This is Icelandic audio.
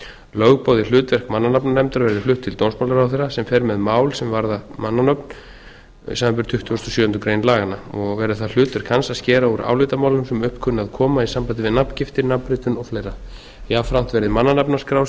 lögboðið hlutverk mannanafnanefndar verði flutt til dómsmálaráðherra sem fer með mál sem varða mannanöfn samanber tuttugustu og sjöundu grein laganna og verði það hlutverk hans að skera úr álitamálum sem upp kunna að koma í sambandi við nafngiftir nafnritun og fleiri jafnframt verði mannanafnaskrá sem